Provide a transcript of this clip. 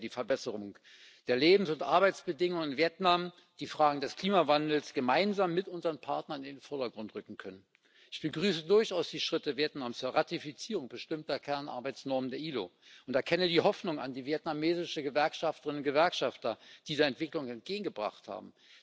So hätten wir die Verbesserung der Lebens und Arbeitsbedingungen in Vietnam, die Fragen des Klimawandels gemeinsam mit unseren Partnern in den Vordergrund rücken können. Ich begrüße durchaus die Schritte Vietnams zur Ratifizierung bestimmter Kernarbeitsnormen der ILO und erkenne die Hoffnung an, die vietnamesische Gewerkschafterinnen und Gewerkschafter dieser Entwicklung entgegengebracht haben.